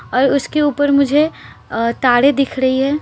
और उसके ऊपर मुझे अ ताड़ें दिख रही हैं --